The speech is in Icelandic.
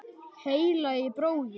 Heilagi bróðir!